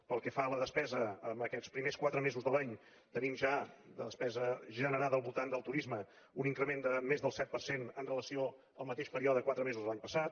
pel que fa a la despesa en aquests primers quatre mesos de l’any tenim ja la despesa generada al voltant del turisme un increment de més del set per cent en relació amb el mateix període de quatre mesos de l’any passat